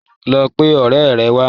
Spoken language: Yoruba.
Lọ pe ọ̀rẹ́ ẹ wá.